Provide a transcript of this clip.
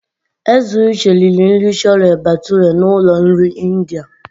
Eziuche riri nri Chole bhature na ụlọ nri India.